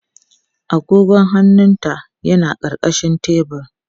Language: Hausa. Agogon hannunta yana ƙarƙashin tebur.